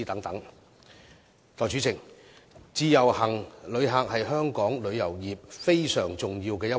代理主席，自由行旅客是香港旅遊業非常重要的一環。